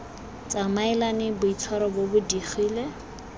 tsamaelane boitshwaro bo bo digile